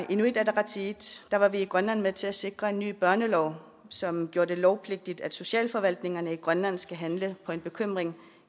inuit ataqatigiit var i grønland med til at sikre en ny børnelov som gjorde det lovpligtigt at socialforvaltningerne i grønland skal handle på en bekymring